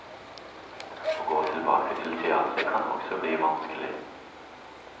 Å gå tilbake til teateret kan også bli vanskelig.